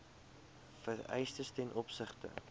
vereistes ten opsigte